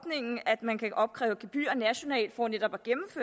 man kan opkræve gebyrer nationalt for netop